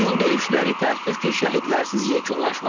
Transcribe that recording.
İyul döyüşləri təəssüf ki, şəhidlərsiz yekunlaşmadı.